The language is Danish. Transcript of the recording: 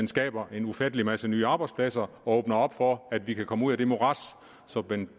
skaber en ufattelig masse nye arbejdspladser og åbner op for at vi kan komme ud af det morads som